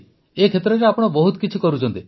ଏହି କ୍ଷେତ୍ରରେ ଆପଣ ବହୁତ କିଛି କରୁଛନ୍ତି